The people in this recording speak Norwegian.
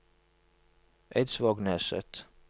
Eidsvågneset